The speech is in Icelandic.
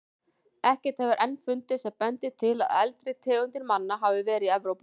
Ekkert hefur enn fundist sem bendir til að eldri tegundir manna hafi verið í Evrópu.